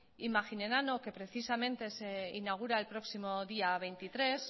imaginenano que precisamente se inaugura el próximo día veintitrés